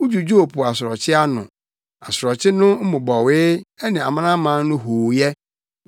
Wudwudwoo po asorɔkye ano, asorɔkye no mmobɔwee, ne amanaman no hooyɛ.